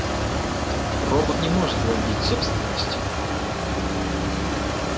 робот не может владеть собственностью